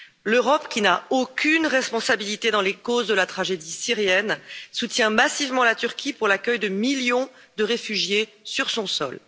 L'Europe, qui n'a aucune responsabilité dans les causes de la tragédie syrienne, soutient massivement la Turquie pour l'accueil de millions de réfugiés sur son sol.